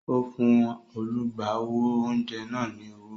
O fún olùgbàwò oúnjẹ náà ni owó